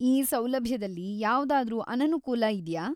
ಈ ಸೌಲಭ್ಯದಲ್ಲಿ ಯಾವ್ದಾದ್ರೂ ಅನನುಕೂಲ ಇದ್ಯಾ?